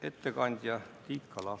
Ettekandja Tiit Kala.